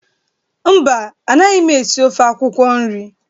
Mba, anaghị esi ofe akwụkwọ nri.